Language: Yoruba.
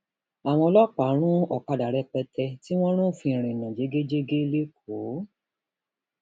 àwọn ọlọpàá run ọkadà rẹpẹtẹ tí wọn rúfin ìrìnnà jẹgẹjẹgẹ lẹkọọ